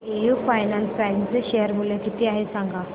AU finance bank चे share मूल्य किती आहे सांगा